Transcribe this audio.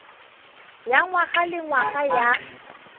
ya ngwaga le ngwaga ya